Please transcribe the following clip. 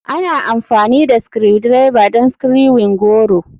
Ana amfani da Screwdriver don screwing goro.